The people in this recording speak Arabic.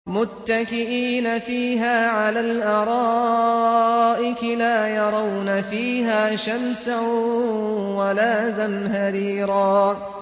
مُّتَّكِئِينَ فِيهَا عَلَى الْأَرَائِكِ ۖ لَا يَرَوْنَ فِيهَا شَمْسًا وَلَا زَمْهَرِيرًا